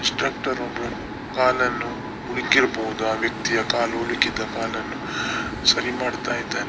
Instructor ಒಬ್ಬರು ಕಾಲನ್ನು ಉಳುಕಿರಬಹುದು ಆ ವ್ಯಕ್ತಿಯ ಕಾಲು ಉಳುಕಿದ ಕಾಲನ್ನು ಸರಿ ಮಾಡ್ತಾ ಇದ್ದಾನೆ.